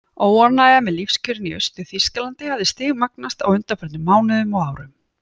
Óánægjan með lífskjörin í Austur-Þýskalandi hafði stigmagnast á undanförnum mánuðum og árum.